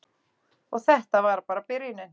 Og þetta var bara byrjunin.